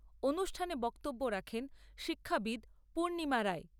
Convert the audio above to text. অনুষ্ঠানে বক্তব্য রাখেন শিক্ষাবিদ পূর্নিমা রায়।